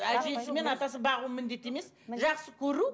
әжесі мен атасы бағу міндеті емес жақсы көру